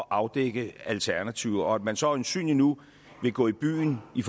afdække alternativer at man så øjensynligt nu vil gå i byen i